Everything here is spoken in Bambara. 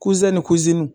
ni